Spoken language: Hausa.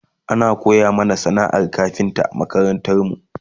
ana koya mana sana'ar kafinta a makarantarmu